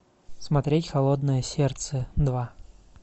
смотреть холодное сердце два